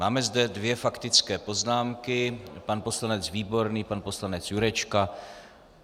Máme zde dvě faktické poznámky - pan poslanec Výborný, pane poslanec Jurečka.